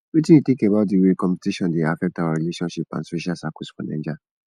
wetin you think about di way competition dey affect our relationships and social circles for naija